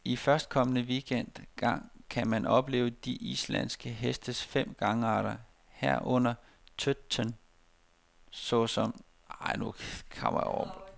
I førstkommende weekend gang kan man opleve de islandske hestes fem gangarter, herunder tølten, som de racerene, islandske heste er ene om at kunne.